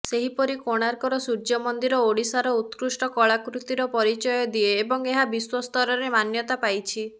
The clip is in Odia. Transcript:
ସେହିପରି କୋଣାର୍କର ସୂର୍ଯ୍ୟମନ୍ଦିର ଓଡ଼ିଶାର ଉତ୍କୃଷ୍ଟ କଳାକୃତିର ପରିଚୟ ଦିଏ ଏବଂ ଏହା ବିଶ୍ୱସ୍ତରରେ ମାନ୍ୟତା ପାଇଛି